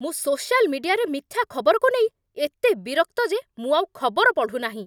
ମୁଁ ସୋସିଆଲ୍ ମିଡିଆରେ ମିଥ୍ୟା ଖବରକୁ ନେଇ ଏତେ ବିରକ୍ତ ଯେ ମୁଁ ଆଉ ଖବର ପଢ଼ୁନାହିଁ।